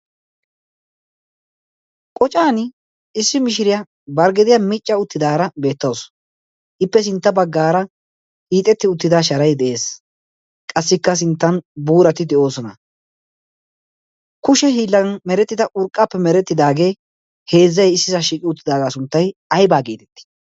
Qocaani issi mishiriya bari gediya micca uttidaara beettawus. Ippe sintta baggaara hiixetti uttida sharay de'ees. Qassikka sinttan buurati de"oosona. Kushe hiillan merettida urqqaappe merettidaagee heezzay issisaa shiiqi uttidaagaa sunttay ayibaa geetetii?